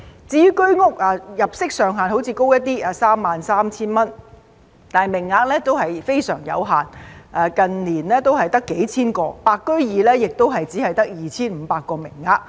至於居屋，雖然入息上限較高，即 33,000 元，但名額非常有限，近年只有幾千個，"白居二"亦只有 2,500 個名額。